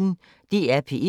DR P1